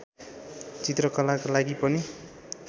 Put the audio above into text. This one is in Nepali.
चित्रकलाका लागि पनि